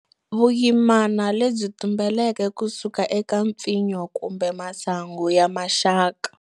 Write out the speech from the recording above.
Vuyimana lebyi tumbulukeke kusuka eka mpfinyo kumbe masangu ya maxaka.